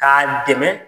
K'a dɛmɛ